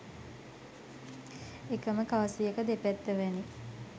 එකම කාසියක දෙපැත්ත වැනි